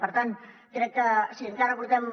per tant crec que si encara portem